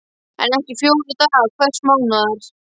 En ekki fjóra daga hvers mánaðar.